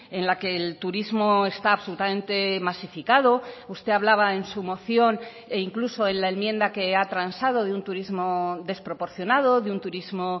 en la que el turismo está absolutamente masificado usted hablaba en su moción e incluso en la enmienda que ha transado de un turismo desproporcionado de un turismo